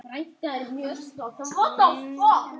Það muni skila auknum tekjum.